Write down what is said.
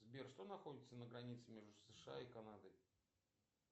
сбер что находится на границе между сша и канадой